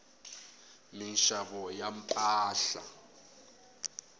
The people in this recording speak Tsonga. minxavo ya mpahla